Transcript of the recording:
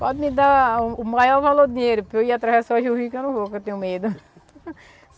Pode me dar o maior valor do dinheiro para eu ir atravessar o rio que eu não vou, que eu tenho medo.